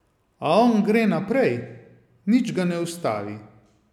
A on gre naprej, nič ga ne ustavi.